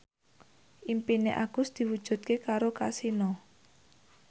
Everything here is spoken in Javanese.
impine Agus diwujudke karo Kasino